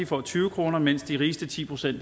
får tyve kr mens de rigeste ti procent